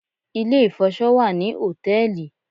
Ilé-ìfọṣọ wà ní hòtẹ́ẹ̀lì